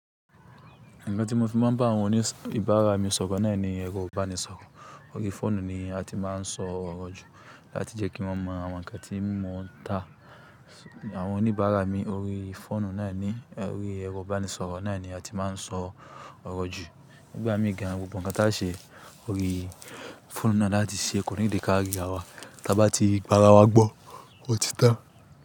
Nǹkan tí mo fi máa ń bá àwọn oníbàárà mi sọ̀rọ̀ náà ni ẹ̀rọ ìbánisọ̀rọ̀. Nǹkan tí mo fi máa ń bá àwọn oníbàárà mi sọ̀rọ̀ náà ni ẹ̀rọ ìbánisọ̀rọ̀. Àwọn oníbàárà mi orí fóònù náà ni orí ẹ̀rọ ìbánisọ̀rọ̀ náà ni a ti máa ń sọ ọ̀rọ̀ jù. Nígbà míì gan, gbogbo ǹkan tí a ṣe orí fóònù náà láti ṣeé kọ́ need kà rí'rawa, t'abá tí gbà'ra wa gbọ́ ọtí tan.